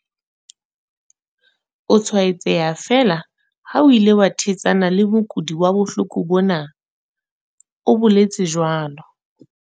"O tshwaetseha feela ha o ile wa thetsana le mokudi wa bohloko bona," o boletse jwalo.